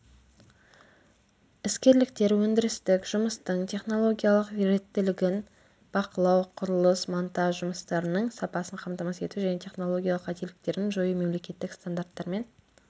іскерліктер өндірістік жұмыстың технологиялық реттілігін бақылау құрылыс монтаж жұмыстарының сапасын қамтамасыз ету және технологияның қателіктерін жою мемлекеттік стандарттармен